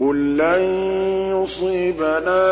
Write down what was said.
قُل لَّن يُصِيبَنَا